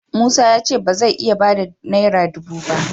Musa ya ce ba zai iya ba da naira dubu ba.